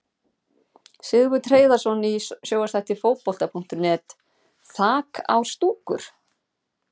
Sigurbjörn Hreiðarsson í sjónvarpsþætti Fótbolta.net: Þak á stúkur!?